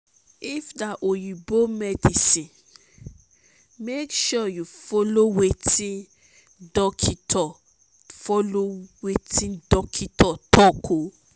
if na oyibo medicine mek you follow wetin dokitor follow wetin dokitor talk o